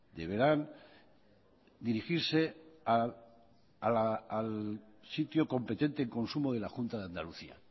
deberán dirigirse al sitio competente en consumo de la junta de andalucía